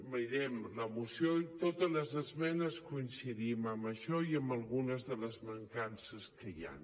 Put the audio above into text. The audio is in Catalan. mirem la moció i en totes les esmenes coincidim en això i en algunes de les mancances que hi han